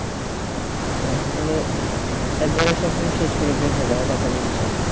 হ্যাঁ মানে একবারে সবকিছু শেষ করে বের হবা এরকম ইচ্ছা